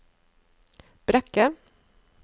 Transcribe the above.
Brekke